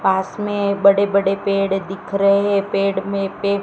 पास में बड़े बड़े पेड़ दिख रहे हैं पेड़ में--